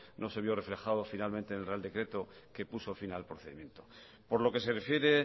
no se vio reflejado finalmente en el real decreto que puso fin al procedimiento por lo que se refiere